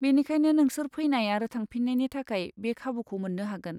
बेनिखायनो नोंसोर फैनाय आरो थांफिन्नायनि थाखाय बे खाबुखौ मोन्नो हागोन।